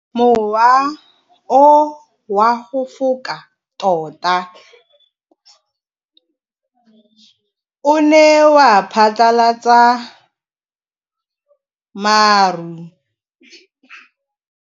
Mowa o wa go foka tota o ne wa phatlalatsa maru.